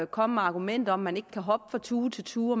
komme med argumenter om at man ikke kan hoppe fra tue til tue og